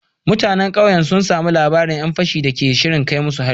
Mutanen kauyen sun samu labarin ‘yan fashin da ke shirin kai musu hari